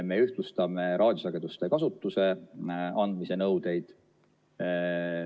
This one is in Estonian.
Me ühtlustame raadiosageduste kasutusse andmise nõudeid.